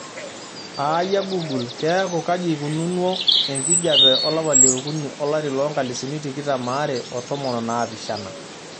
aayia google keeku kaji eikununou enkijiape olapa leokuni olari loonkalisuni tikitam are otomon onaapishana